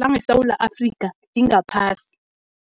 langeSewula Afrika lingaphasi.